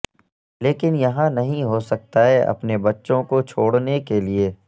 لیکن یہاں نہیں ہو سکتا ئیے اپنے بچوں کو چھوڑنے کے لئے